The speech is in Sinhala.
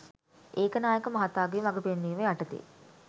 ඒකනායක මහතාගේ මග පෙන්වීම යටතේ